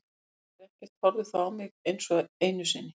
Ef þú ætlar þér ekkert þá horfðu ekki á mig einsog einu sinni.